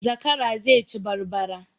Zakara zai ci barbara